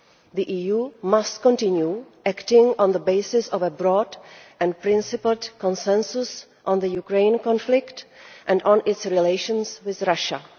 The EU must continue acting on the basis of a broad and principled consensus on the Ukraine conflict and on its relations with Russia.